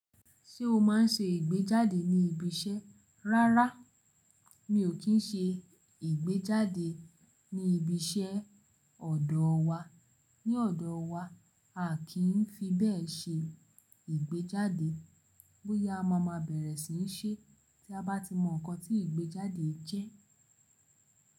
Ṣé o máa ń ṣe ìgbéjáde ní ibi iṣẹ́? Rárá, mi ò kí ń ṣe ìgbéjáde ní ibi iṣẹ́ ọ̀dọ̀ wa. Ní ọ̀dọ̀ wa, a a kì n fi bẹ́ẹ̀ ṣe ìgbéjáde. Bóyá a máa ma bẹ̀rẹ̀ sí í ṣe tí a bá ti mọ̀ nǹkan tí ìgbéjáde jẹ́